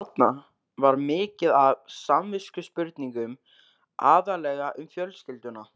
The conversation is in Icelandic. Þarna var mikið af samviskuspurningum, aðallega um fjölskylduna.